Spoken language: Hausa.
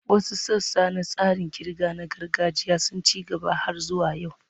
Wasu sassa na tsarin ƙirga na gargajiya sun ci gaba har zuwa yau.